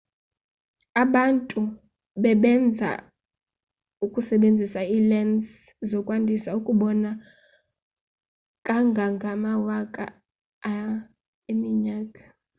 abantu bebenza besebenzisa ii-lense zokwandisa ukubona kangangamawaka a eminyaka